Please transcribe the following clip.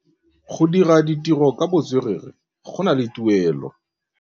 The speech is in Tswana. Go dira ditirô ka botswerere go na le tuelô.